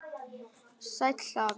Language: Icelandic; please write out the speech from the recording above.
Sæll afi.